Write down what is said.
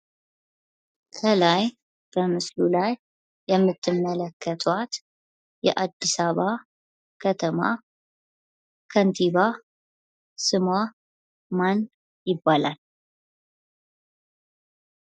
ከላይ በምስሉ ላይ የምትመለከተዋት የአዲስ አበባ ከተማ ከንቲባ ስሟ ማን ይባላል?